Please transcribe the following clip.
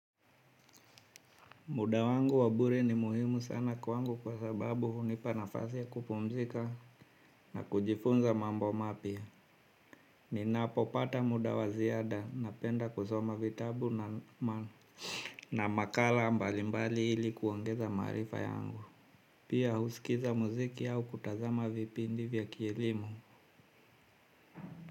Muda wangu wa bure ni muhimu sana kwangu kwa sababu hunipa nafasi ya kupumzika na kujifunza mambo mapya. Ninapopata muda wa ziada napenda kusoma vitabu na makala mbalimbali ili kuongeza maarifa yangu. Pia husikiza muziki au kutazama vipindi vya kielimu.